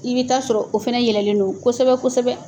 I bɛ taa sɔrɔ o fana yɛlɛlen don kosɛbɛ kosɛbɛ